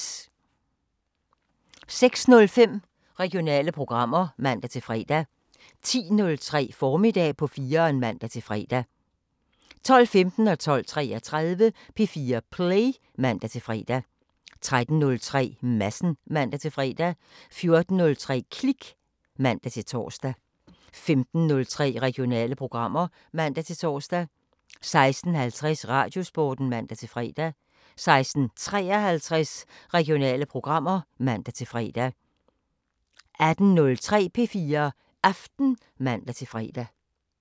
06:05: Regionale programmer (man-fre) 10:03: Formiddag på 4'eren (man-fre) 12:15: P4 Play (man-fre) 12:33: P4 Play (man-fre) 13:03: Madsen (man-fre) 14:03: Klik (man-tor) 15:03: Regionale programmer (man-tor) 16:50: Radiosporten (man-fre) 16:53: Regionale programmer (man-fre) 18:03: P4 Aften (man-fre)